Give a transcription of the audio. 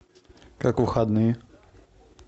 как выходные